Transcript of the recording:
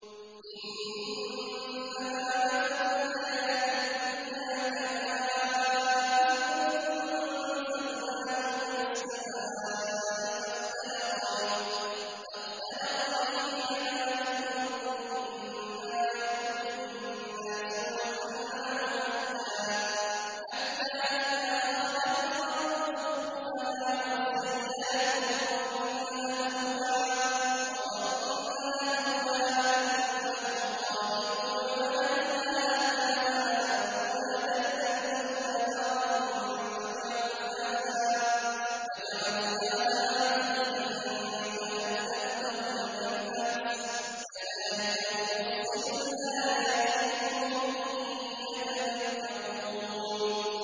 إِنَّمَا مَثَلُ الْحَيَاةِ الدُّنْيَا كَمَاءٍ أَنزَلْنَاهُ مِنَ السَّمَاءِ فَاخْتَلَطَ بِهِ نَبَاتُ الْأَرْضِ مِمَّا يَأْكُلُ النَّاسُ وَالْأَنْعَامُ حَتَّىٰ إِذَا أَخَذَتِ الْأَرْضُ زُخْرُفَهَا وَازَّيَّنَتْ وَظَنَّ أَهْلُهَا أَنَّهُمْ قَادِرُونَ عَلَيْهَا أَتَاهَا أَمْرُنَا لَيْلًا أَوْ نَهَارًا فَجَعَلْنَاهَا حَصِيدًا كَأَن لَّمْ تَغْنَ بِالْأَمْسِ ۚ كَذَٰلِكَ نُفَصِّلُ الْآيَاتِ لِقَوْمٍ يَتَفَكَّرُونَ